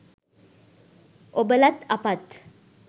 ඔබලත් අපත්